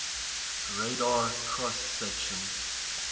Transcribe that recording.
radar cross section